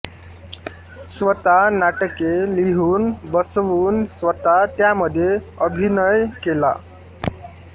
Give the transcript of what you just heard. स्वतः नाटके लिहून बसवून स्वतः त्यामध्ये अभिनय केला